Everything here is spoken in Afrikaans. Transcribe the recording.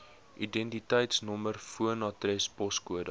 identiteitsnommer woonadres poskode